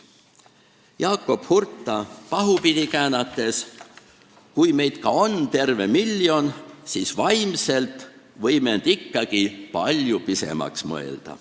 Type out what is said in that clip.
Jakob Hurda sõnu pahupidi käänates: "Kui meid ka on terve miljon, siis vaimselt võime end ikkagi palju pisemaks mõelda.